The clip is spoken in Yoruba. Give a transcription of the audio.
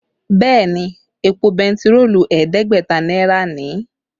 Bẹ́ẹ̀ ni, èpò bentiroolu ẹ̀ẹ́dẹ́gbẹ̀ta náírà ni